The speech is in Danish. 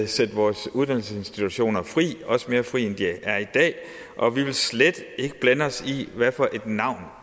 sætte vores uddannelsesinstitutioner fri også mere fri end de er i dag og vi vil slet ikke blande os i hvad for et navn